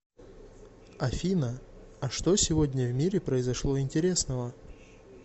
афина а что сегодня в мире произошло интересного